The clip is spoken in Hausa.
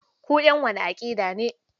Kun ƴan wace aƙida ne?